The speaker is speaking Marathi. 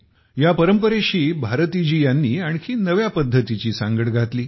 या परंपरेशी भारती जी यांनी आणखी नव्या पद्धतीची सांगड घातली